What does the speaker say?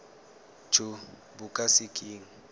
jo bo ka se keng